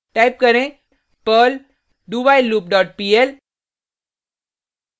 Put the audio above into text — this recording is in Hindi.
टाइप करें perl dowhileloop dot pl